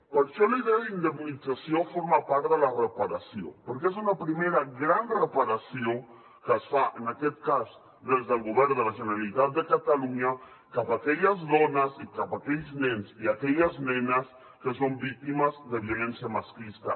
per això la idea d’indemnització forma part de la reparació perquè és una primera gran reparació que es fa en aquest cas des del govern de la generalitat de catalunya cap a aquelles dones i cap a aquells nens i aquelles nenes que són víctimes de violència masclista